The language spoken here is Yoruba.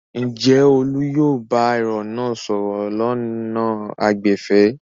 Ǹjẹ́ Olú yóò bá èrò náà sọ̀rọ̀ lọ́nà àìgbẹ̀fẹ̀?